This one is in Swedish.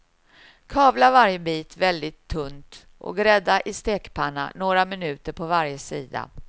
Kavla varje bit väldigt tunt och grädda i stekpanna några minuter på varje sida.